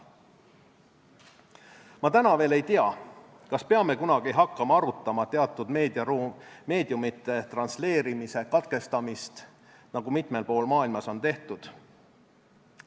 Ma täna veel ei tea, kas peame kunagi hakkama arutama teatud meediumite transleerimise katkestamist, nagu mitmel pool maailmas on tehtud.